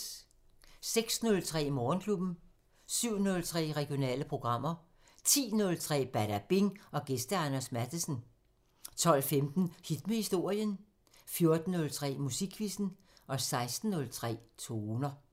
06:03: Morgenklubben 07:03: Regionale programmer 10:03: Badabing: Gæst Anders Matthesen 12:15: Hit med historien 14:03: Musikquizzen 16:03: Toner